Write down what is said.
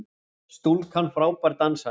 Stúlkan frábær dansari!